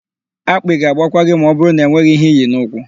Akpị ga-agbakwa gị ma ọbụrụ na enweghị íhé íyì n'ụkwụ.